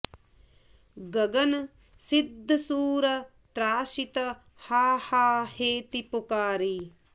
गगन सिद्ध सुर त्रासित हा हा हेति पुकारि